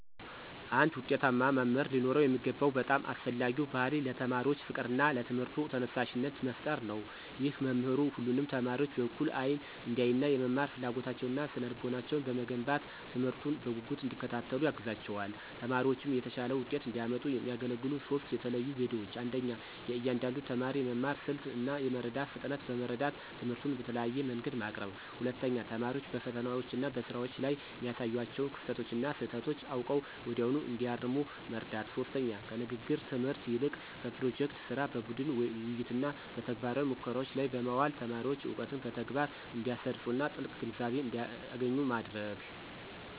አንድ ውጤታማ መምህር ሊኖረው የሚገባው በጣም አስፈላጊው ባሕርይ ለተማሪዎች ፍቅርና ለትምህርቱ ተነሳሽነት መፍጠር ነው። ይህ መምህሩ ሁሉንም ተማሪዎች በእኩል አይን እንዲያይና፣ የመማር ፍላጎታቸውንና ስነ-ልቦናቸውን በመገንባት፣ ትምህርቱን በጉጉት እንዲከታተሉ ያግዛቸዋል። ተማሪዎችም የተሻለ ውጤት እንዲያመጡ የሚያገለግሉ ሦስት የተለዩ ዘዴዎች 1. የእያንዳንዱን ተማሪ የመማር ስልት እና የመረዳት ፍጥነት በመረዳት፣ ትምህርቱን በተለያየ መንገድ ማቅረብ። 2. ተማሪዎች በፈተናዎችና በስራዎች ላይ የሚያሳዩዋቸውን ክፍተቶችና ስህተቶች አውቀው ወዲያውኑ እንዲያርሙ መርዳት። 3. ከንግግር ትምህርት ይልቅ በፕሮጀክት ሥራ፣ በቡድን ውይይትና በተግባራዊ ሙከራዎች ላይ በማዋል ተማሪዎች እውቀትን በተግባር እንዲያሰርፁና ጥልቅ ግንዛቤ እንዲያገኙ ማድረግ።